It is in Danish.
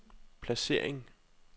placering